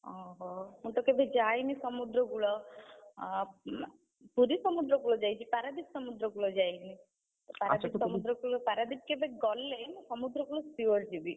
ଓହୋ! ମୁଁ ତ କେବେ ଯାଇନି ସମୁଦ୍ର କୂଳ, ଆ, ପୁରୀ ସମୁଦ୍ର କୂଳ ଯାଇଛି, ପାରାଦ୍ୱୀପ ସମୁଦ୍ର କୂଳ ଯାଇନି। ସମୁଦ୍ର କୂଳ ପାରାଦ୍ୱୀପ କେବେ ଗଲେ ସମୁଦ୍ର କୂଳ sure ଯିବି।